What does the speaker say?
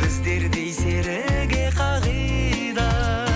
біздердей серіге қағида